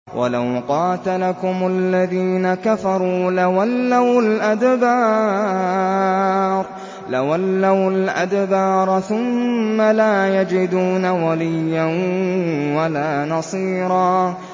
وَلَوْ قَاتَلَكُمُ الَّذِينَ كَفَرُوا لَوَلَّوُا الْأَدْبَارَ ثُمَّ لَا يَجِدُونَ وَلِيًّا وَلَا نَصِيرًا